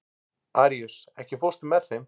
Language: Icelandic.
Aríus, ekki fórstu með þeim?